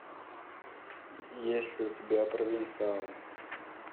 есть ли у тебя провинциалы